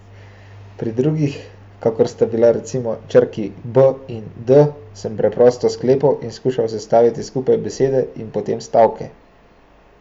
Pri drugih, kakor sta bili recimo črki b in d, sem preprosto sklepala in skušala sestavljati skupaj besede in potem stavke.